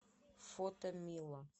фото мила